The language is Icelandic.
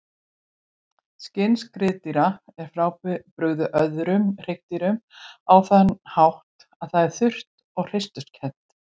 Skinn skriðdýra er frábrugðið öðrum hryggdýrum á þann hátt að það er þurrt og hreisturkennt.